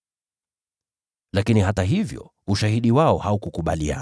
Lakini hata hivyo, ushahidi wao haukukubaliana.